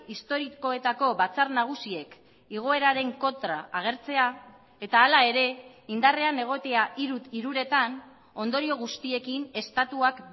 historikoetako batzar nagusiek igoeraren kontra agertzea eta hala ere indarrean egotea hiruretan ondorio guztiekin estatuak